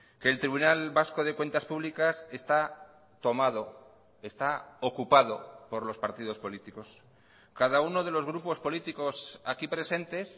que el tribunal vasco de cuentas públicas está tomado está ocupado por los partidos políticos cada uno de los grupos políticos aquí presentes